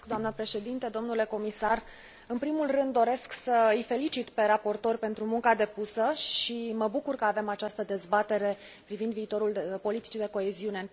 În primul rând, doresc să îi felicit pe raportori pentru munca depusă și mă bucur că avem această dezbatere privind viitorul politicii de coeziune în prezența comisarului Johannes Hahn.